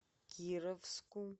кировску